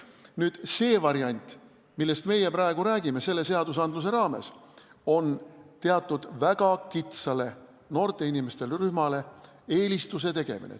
Nüüd see variant, millest meie selle seaduse raames praegu räägime, on teatud kindlale, väga kitsale noorte inimeste rühmale eelise andmine.